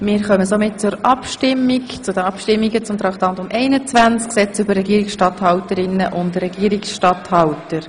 Wir kommen zu den Abstimmungen über das Traktandum 21, Gesetz über die Regierungsstatthalterinnen und Regierungsstatthalter.